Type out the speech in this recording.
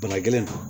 Bana gɛlɛn na